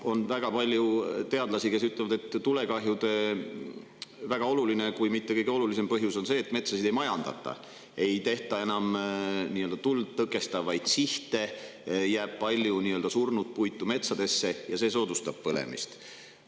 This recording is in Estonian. On väga palju teadlasi, kes ütlevad, et tulekahjude väga olulised, kui mitte kõige olulisemad põhjused on, et metsasid ei majandata, sinna ei tehta enam tuld tõkestavaid sihte ja metsadesse jääb palju surnud puitu, mis soodustab.